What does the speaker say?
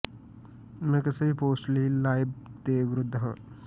ਮੈਂ ਕਿਸੇ ਵੀ ਪੋਸਟ ਲਈ ਲਾਬਿੰਗ ਦੇ ਵਿਰੁੱਧ ਹਾਂ